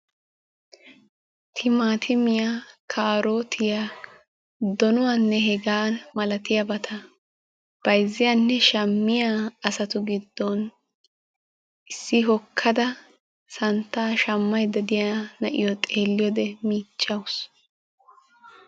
Timatimmiya kaarotiyaa donuwanne hega milaatiya asatu giddon issi hookkada santta shammaydda na'iyo xeeliyoode keehin michchawus.